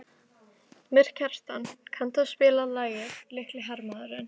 Mýrkjartan, kanntu að spila lagið „Litli hermaðurinn“?